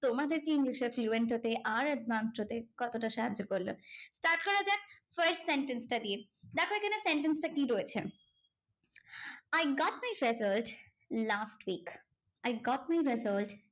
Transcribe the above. তোমাদেরকে ইংলিশে fluent হতে আর advance হতে কতটা সাহায্য করলো? start করা যাক, first sentence টা দিয়ে। দেখো এখানে sentence টা কি রয়েছে? I got my result last week. I got my result